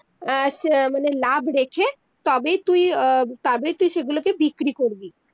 আহ মানে লাভ রেখে তবে তুই তবে তুই সেগুলোকে বিক্রি করবি